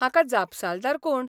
हाका जापसालदार कोण?